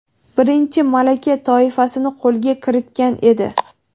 birinchi malaka toifasini qo‘lga kiritgan edi.